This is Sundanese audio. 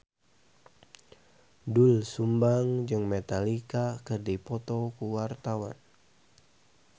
Doel Sumbang jeung Metallica keur dipoto ku wartawan